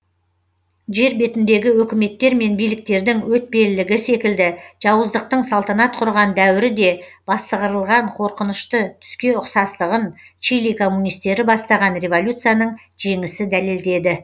жер бетіндегі өкіметтер мен биліктердің өтпелілігі секілді жауыздықтың салтанат құрған дәуірі де бастығырылған қорқынышты түске ұқсастығын чили коммунистері бастаған революцияның жеңісі дәлелдеді